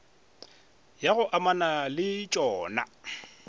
ya go amana le tšona